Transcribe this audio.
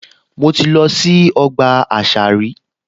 Mo ti lọ sí ọgbà àṣà rí